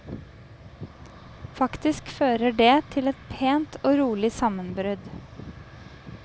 Faktisk fører det til et pent og rolig sammenbrudd.